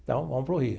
Então, vamos para o Rio.